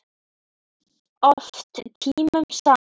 Oft tímunum saman.